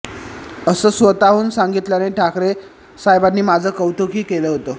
असं स्वतःहून सांगितल्याने ठाकरे साहेबांनी माझं कौतुक ही केलं होतं